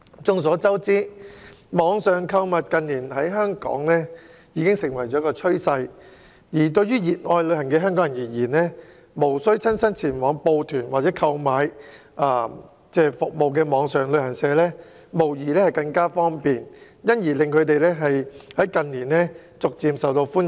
眾所周知，網上購物近年在港成為趨勢，對熱愛旅行的香港人來說，無須親身報團或購買服務的網上旅行社，無疑更為方便，所以近年逐漸受到歡迎。